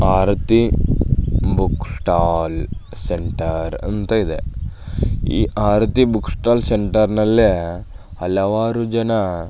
ಆರತಿ book stall centre ಅಂತ ಇದೆ ಈ ಆರತಿ ಬುಕ್ ಸ್ಟಾಲ್ ಸೆಂಟರ್ ನಲ್ಲೆ ಹಲವಾರು ಜನ --